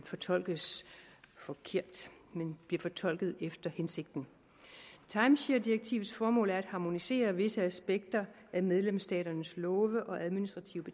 fortolkes forkert men bliver fortolket efter hensigten timesharedirektivets formål er at harmonisere visse aspekter af medlemsstaternes love og administrative